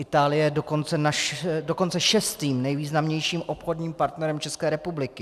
Itálie je dokonce šestým nejvýznamnějším obchodním partnerem České republiky.